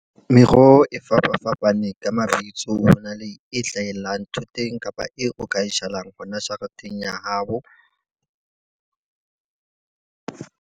Meroho e fapafapaneng ka mabitso hona le e hlahellang thoteng kapa eo o ka e jalang hona jareteng ya hao.